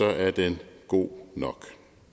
er den god nok